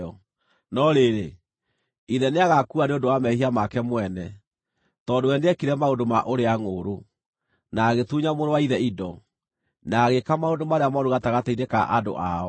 No rĩrĩ, ithe nĩagaakua nĩ ũndũ wa mehia make mwene, tondũ we nĩekire maũndũ ma ũrĩa-ngʼũũrũ, na agĩtunya mũrũ wa ithe indo, na agĩĩka maũndũ marĩa mooru gatagatĩ-inĩ ka andũ ao.